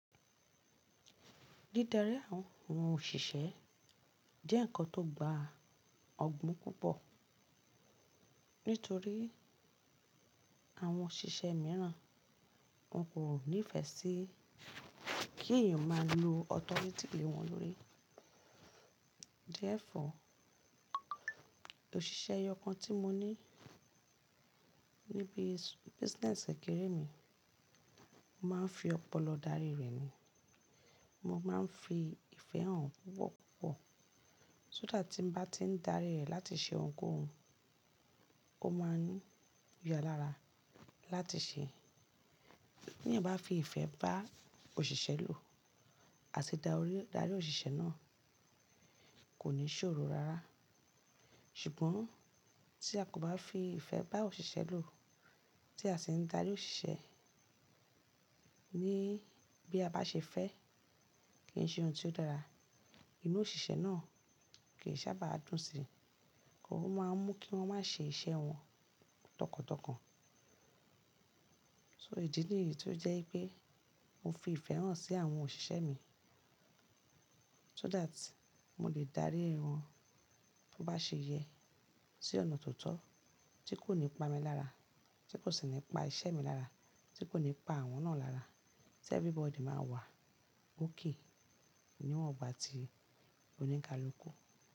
Dídarí àwọn òṣìṣẹ́ jẹ́ ǹkan tó gba ọ̀gbon púpọ̀ nítorí àwọn òṣìṣẹ́ míràn wọn kò nífẹ̀ẹ́ sí kí èèyàn máa lo authority lẹ̀ won lórí. Jẹ́ ẹ̀ fọ̀, òṣìṣẹ́ eyọkàn tí mo ní níbi business kẹ̀kẹ̀rẹ̀ mi, mo máa ń fi ọpọlọ darí rẹ̀ ni. Mo máa ń fi ìfẹ́ hàn púpo púpọ̀, so that tí mo bá ti ń darí rẹ̀ láti ṣe ohunkóhun, ó máa ń yáa lára láti ṣe é. Tí èèyàn bá fi ìfẹ́ bá òṣìṣẹ́ lò, àti dá orí darí òṣìṣẹ́ náà, kò ní ṣòro rárá. Ṣùgbọ́n tí a kò bá fi ìfẹ́ bá òṣìṣẹ́ lò, tí a sì ń darí òṣìṣẹ́ ní bí a bá ṣe fẹ́ kí ń ṣe ohun tí ó dára, inú òṣìṣẹ́ náà kì í sábà dùn sí i, kí ó máa mú kí wọ́n má ṣe iṣẹ́ wọn tọkàntọkàn. So idì nìyí tí ó jẹ́ pé mo fi ìfẹ́ hàn sí àwọn òṣìṣẹ́ mi so that mo lè dárí wọn bó bá ṣe yẹ sí ọ̀nà tó tọ́ tí kò ní pa mí lára, tí kò sì ní pa iṣẹ́ mi lára, tí kò ní pa àwọn náà lára, tí everybody máa wà okay, ní wọn ò bá ti oníkaluku.